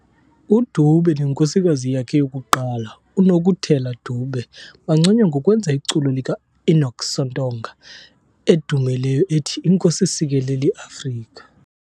UDube nenkosikazi yakhe yokuqala, uNokutela Dube, banconywa ngokwenza iculo likaEnoch Sontonga edumileyo ethi "Nkosi Sikelel' iAfrika".